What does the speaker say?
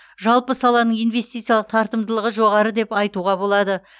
жалпы саланың инвестициялық тартымдылығы жоғары деп айтуға болады